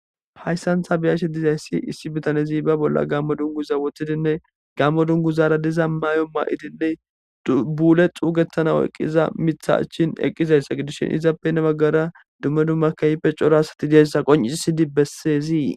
Hayssantha biyashe dizayssi issi bitanezi ba bolla gammo dunguza wothidinne gammo dunguzara diza mayo ma7idinne buule xuugettana eqqiza mitha achchin eqqizayssa gidushin izappe heni baggara dumme dumma kayipe cora asati deyssa qoncisi sidi bessezii.